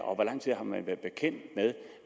og hvor lang tid har man været bekendt med